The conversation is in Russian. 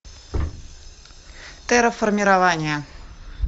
терраформирование